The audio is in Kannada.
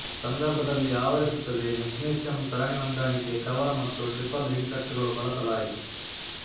ಸಂದರ್ಭದಲ್ಲಿ ಆವರಿಸುತ್ತದೆ ಮ್ಯಗ್ನೀಶಿಯಮ್ ಸರಣಿ ಹೊಂದಾಣಿಕೆ ಕವರ್ ಮತ್ತು ಟ್ರಿಪಲ್ ಹಿಡಿಕಟ್ಟುಗಳು ಬಳಸಲಾಯಿತು